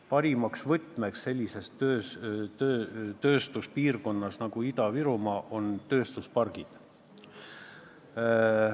Parim võti sellises tööstuspiirkonnas nagu Ida-Virumaa on tööstuspargid.